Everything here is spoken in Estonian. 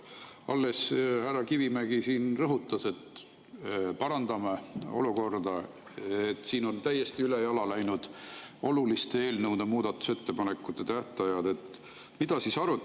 Alles härra Kivimägi siin rõhutas, et parandame olukorda, et siin on oluliste eelnõude muudatusettepanekute tähtajad täiesti üle.